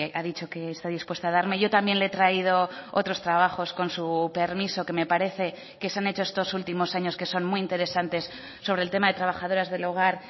ha dicho que está dispuesta a darme yo también le he traído otros trabajos con su permiso que me parece que se han hecho estos últimos años que son muy interesantes sobre el tema de trabajadoras del hogar